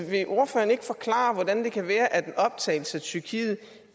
vil ordføreren ikke forklare hvordan det kan være at en optagelse af tyrkiet